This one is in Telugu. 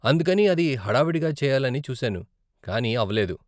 అందుకని అది హడావిడిగా చేయాలని చూసాను, కానీ అవ్వలేదు.